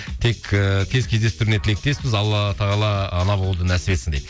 тек ііі тез кездестіруіне тілектеспіз алла тағала ана болуды нәсіп етсін дейді